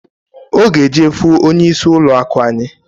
Ọ g'eje fụ onye isi ụlọ akụ anyị.